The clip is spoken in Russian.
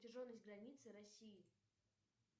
протяженность границы россии